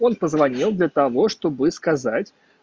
он позвонил для того чтобы сказать